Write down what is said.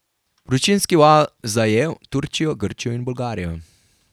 Vročinski val zajel Turčijo, Grčijo in Bolgarijo.